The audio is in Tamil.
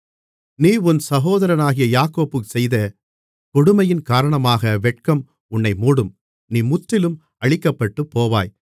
நீ உன் சகோதரனாகிய யாக்கோபுக்குச் செய்த கொடுமையின் காரணமாக வெட்கம் உன்னை மூடும் நீ முற்றிலும் அழிக்கப்பட்டுப்போவாய்